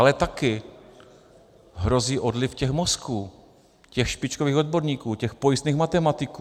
Ale taky hrozí odliv těch mozků, těch špičkových odborníků, těch pojistných matematiků.